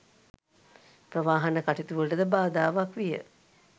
ප්‍රවාහන කටයුතු වලටද බාධාවක් විය